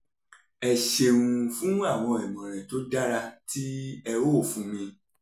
ẹ ṣeun fún àwọn ìmọ̀ràn tó dára tí ẹ ó fún mi